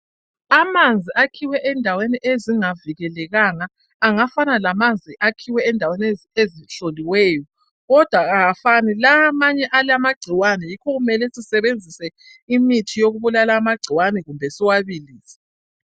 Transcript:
Amanzi akhiwe endaweni ezingavikelekanga angafana lamanzi akhiwe endaweni ezihloliweyo kodwa awafani, lawa amanye alamagcikwane, yikho kumele sisebenzise imithi yokubulala amagcikwane kumbe siwabilise.